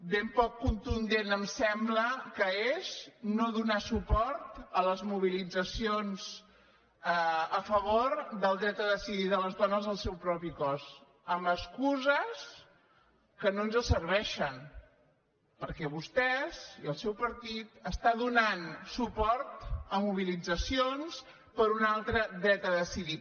ben poc contundent em sembla que és no donar suport a les mobilitzacions a favor del dret a decidir de les dones el seu propi cos amb excuses que no ens serveixen perquè vostès i el seu partit està donant suport a mobilitzacions per un altre dret a decidir